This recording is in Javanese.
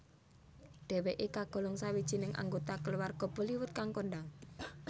Dheweke kagolong sawijining anggota kaluwarga Bollywood kang kondhang